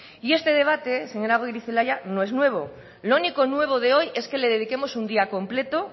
y este debate señora goirizelaia no es nuevo lo único nuevo de hoy es que le dediquemos un día completo